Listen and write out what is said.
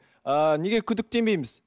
ы неге күдіктенбейміз